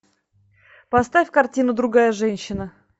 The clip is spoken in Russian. поставь картину другая женщина